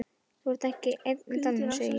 Þú ert þá ekki ein í dalnum, segi ég.